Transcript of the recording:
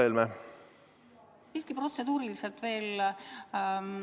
Siiski veel üks protseduuriline küsimus.